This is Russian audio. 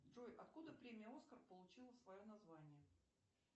джой откуда премия оскар получила свое название